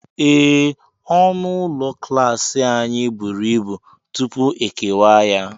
Ee, ọnụ ụlọ klas anyị buru ibu, tupu e kewaa ya.